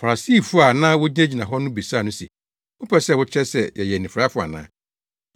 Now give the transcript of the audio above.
Farisifo a na wogyinagyina hɔ no bisaa no se, “Wopɛ sɛ wokyerɛ sɛ yɛyɛ anifuraefo ana?”